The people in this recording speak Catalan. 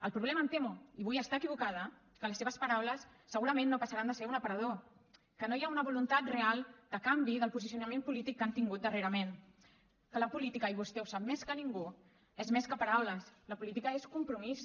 el problema em temo i vull estar equivocada és que les seves paraules segurament no passaran de ser un aparador que no hi ha una voluntat real de canvi del posicionament polític que han tingut darrerament que la política i vostè ho sap més que ningú és més que paraules la política és compromís